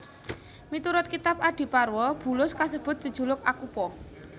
Miturut kitab Adiparwa bulus kasebut jejuluk Akupa